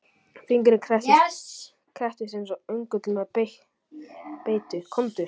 Fingurinn krepptist, krepptist eins og öngull með beitu, komdu.